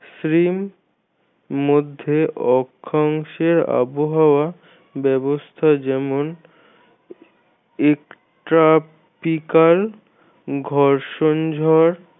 মধ্যে অক্ষাংশের আবহাওয়া ব্যবস্থা যেমন এক tropical ঘর্ষন ঝড়